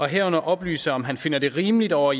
herunder oplyse om han finder det rimeligt og